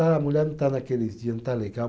A mulher não está naqueles dias, não está legal.